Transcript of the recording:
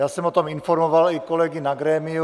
Já jsem o tom informoval i kolegy na grémiu.